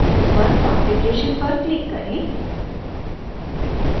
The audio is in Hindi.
ऊपर configuration पर click करें